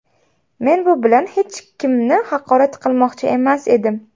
Men bu bilan hech kimni haqorat qilmoqchi emas edim.